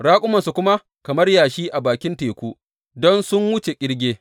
Raƙumansu kuma kamar yashi a bakin teku don sun wuce ƙirge.